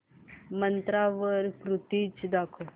मिंत्रा वर कुर्तीझ दाखव